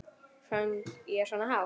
Söng ég svona hátt?